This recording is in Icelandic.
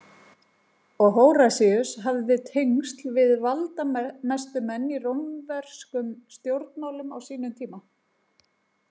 Og Hóratíus hafði tengsl við valdamestu menn í rómverkum stjórnmálum á sínum tíma.